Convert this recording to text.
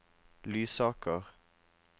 Lysaker